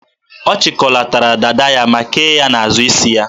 Ọ chịkọlatara dada ya ma kee ya n'azụ isi ya.